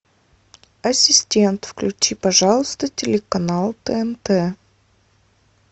ассистент включи пожалуйста телеканал тнт